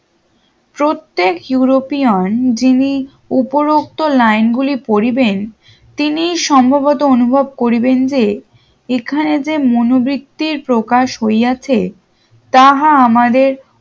প্রত্যেক ইউরোপিয়ান যিনি উপরোক্ত line গুলি পরিবেন তিনি সম্ভবত অনুভব করিবেন যে এখানে যে মনোবতীর প্রকাশ হইয়াছে তাহা আমাদের